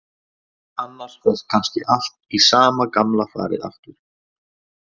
Annars fer kannski allt í sama gamla farið aftur.